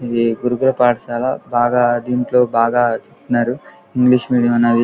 ఇది గురుకుల పాఠశాల బాగా దింట్లో బాగా ఉన్నారు. ఇంగ్లీష్ మీడియం అనేది --